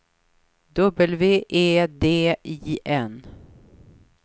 W E D I N